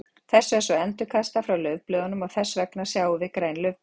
þessu er svo endurkastað frá laufblöðunum og þess vegna sjáum við græn laufblöð